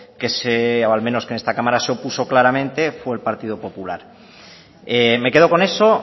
que al menos en esta cámara se opuso claramente fue el partido popular me quedo con eso